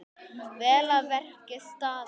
Vel að verki staðið!